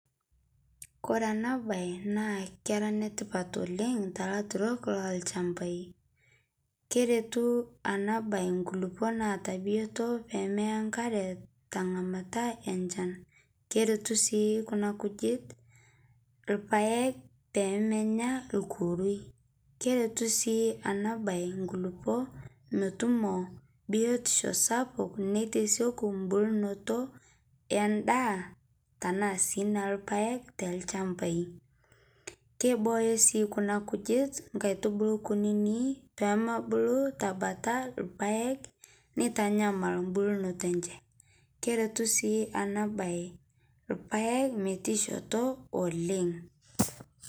Kore ana bai naa kera netipat oleng te laturok lolshampai keretu ana bai nkulipoo naata biotoo pemeya nkaree nkataa enshan keretu sii Kuna kujit lpaeg pemenya nkurui keretu sii ana bai nkulipoo metumo biotisho sapat neiteseku mbulnotoo endaa tanaa sii tanaa sii nelpaeg telshampai keibooyo sii Kuna kujit nkaitubulu kunini pemebulu tabataa lpaeg neitanyamal mbulnoto enshe keretu sii ana bai lpaeg metiishotoo oleng